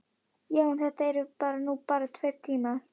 Já, en þetta eru nú bara tveir tímar.